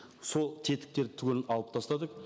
сол тетіктерді түгелін алып тастадық